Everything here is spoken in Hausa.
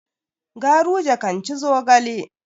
Garuje kan ci zogale.